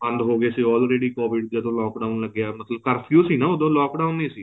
ਬੰਦ ਹੋ ਗਏ ਸੀ already covid ਜਦੋਂ lock down ਲੱਗਿਆ ਮਤਲਬ ਕਰਫਿਊ ਸੀ ਨਾ ਉਦੋਂ lock down ਨਹੀਂ ਸੀ